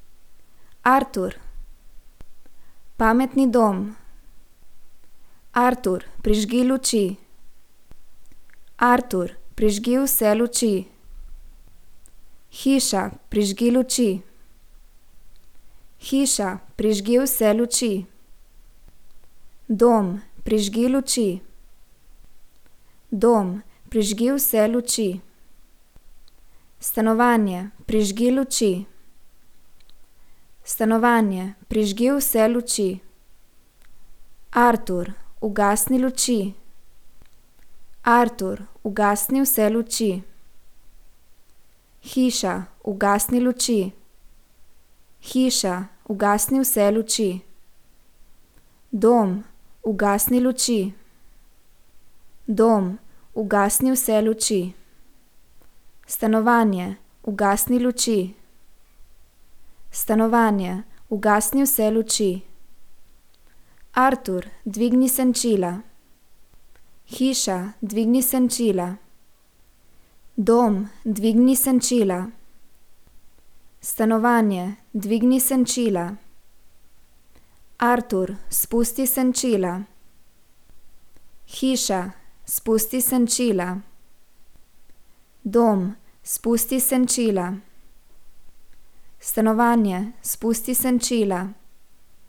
Artur. Pametni dom. Artur, prižgi luči. Artur, prižgi vse luči. Hiša, prižgi luči. Hiša, prižgi vse luči. Dom, prižgi luči. Dom, prižgi vse luči. Stanovanje, prižgi luči. Stanovanje, prižgi vse luči. Artur, ugasni luči. Artur, ugasni vse luči. Hiša, ugasni luči. Hiša, ugasni vse luči. Dom, ugasni luči. Dom, ugasni vse luči. Stanovanje, ugasni luči. Stanovanje, ugasni vse luči. Artur, dvigni senčila. Hiša, dvigni senčila. Dom, dvigni senčila. Stanovanje, dvigni senčila. Artur, spusti senčila. Hiša, spusti senčila. Dom, spusti senčila. Stanovanje, spusti senčila.